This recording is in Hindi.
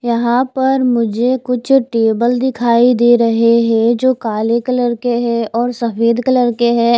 यहाँ पर मुझे कुछ टेबल दिखाई दे रहे हे जो काले कलर के हैऔर सफ़ेद कलर के है।